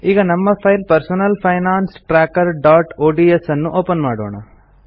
ಈಗ ನಮ್ಮ file personal finance trackerಒಡಿಎಸ್ ಅನ್ನು ಒಪೆನ್ ಮಾಡೋಣ